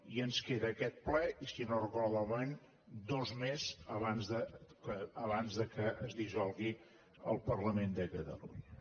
i ens queda aquest ple i si no ho recordo malament dos més abans que es dissolgui el parlament de catalunya